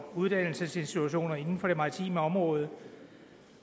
uddannelsesinstitutioner inden for det maritime område